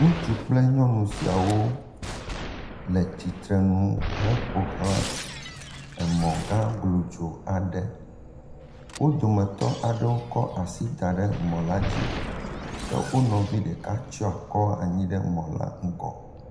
Ŋutsu kple nyɔnu siawo le tsitre nu heƒo xlã mɔ gã glodzo aɖe. Wo dometɔ aɖewo kɔ asi da ɖe mɔ la dzi ke wo dometɔ ɖeka tsɔ akɔ anyi ɖe mɔ la ŋgɔ.